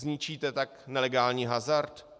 Zničíte tak nelegální hazard?